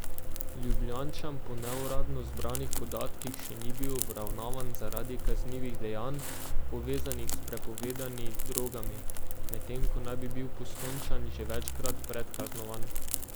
Ljubljančan po neuradno zbranih podatkih še ni bil obravnavan zaradi kaznivih dejanj, povezanih s prepovedani drogami, medtem ko naj bi bil Postojnčan že večkrat predkaznovan.